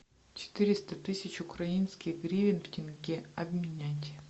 четыреста тысяч украинских гривен в тенге обменять